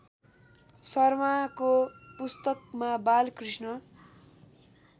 शर्माको पुस्तकमा बालकृष्ण